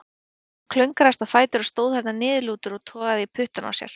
Hinn klöngraðist á fætur og stóð þarna niðurlútur og togaði í puttana á sér.